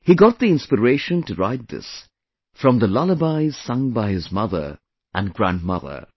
He got the inspiration to write this from the lullabies sung by his mother and grandmother